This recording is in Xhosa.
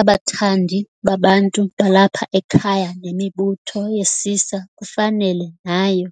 Abathandi babantu balapha ekhaya nemibutho yesisa kufanele nayo